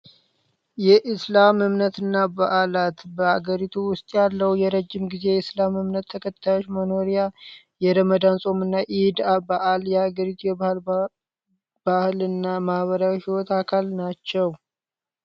የኢስላም እምነትና በዓላት በአገሪቱ ውስጥ ያለው የረጅም ጊዜ እስልም እምነት ተከታዮች መኖርያ የረመዳን ፆምና ኢድ በዐል የሃገሪቱ ባህልና ማህበራዊ ሂወት አካል ናቸው።